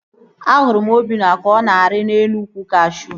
Ahụrụ m Obinna ka ọ na-arị elu ukwu kashuu